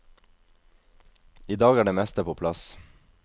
I dag er det meste på plass.